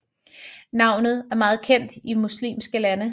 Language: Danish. Navnet er meget kendt i muslimske lande